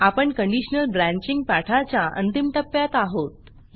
आपण conditional branching पाठाच्या अंतिम टप्प्यात आहोत